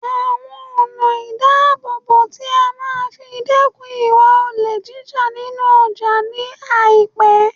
awon ona idabobo ti a maa fi dekun iwa ole jija ninu oja ni aipe